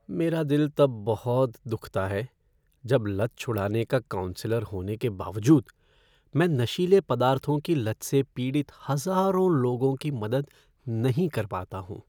मेरा दिल तब बहुत दुखता है जब लत छुड़ाने का काउंसलर होने के बावजूद, मैं नशीले पदार्थों की लत से पीड़ित हज़ारों लोगों की मदद नहीं कर पाता हूँ।